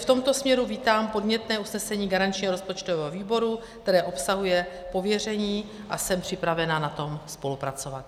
V tomto směru vítám podnětné usnesení garančního rozpočtového výboru, které obsahuje pověření, a jsem připravena na tom spolupracovat.